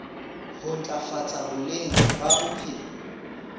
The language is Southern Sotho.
ho ntlafatsa boleng ba bophelo